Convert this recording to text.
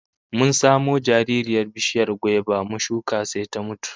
Mun samo jaririyar bishiyar gwaiba mu shuka sai ta mutu